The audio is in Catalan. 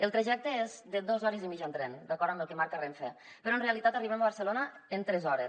el trajecte és de dos hores i mitja en tren d’acord amb el que marca renfe però en realitat arribem a barcelona en tres hores